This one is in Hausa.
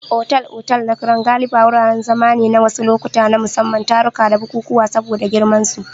Otal-otal na Crown galibi wuraren zama ne na wasu lokuta na musamman, taruka da bukukuwa saboda girmansu.